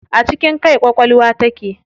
A cikin kai ƙwaƙwalwa take.